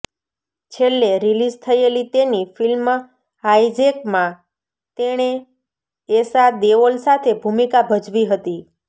છેલ્લે રિલિઝ થયેલી તેની ફિલ્મ હાઈજેકમાં તેણે એશા દેઓલ સાથે ભૂમિકા ભજવી હતી